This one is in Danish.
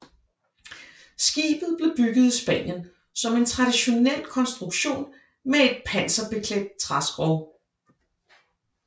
Skibet blev bygget i Spanien som en traditionel konstruktion med et panserbeklædt træskrog